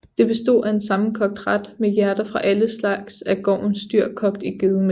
Det bestod af en sammenkogt ret med hjerter fra alle slags af gårdens dyr kogt i gedemælk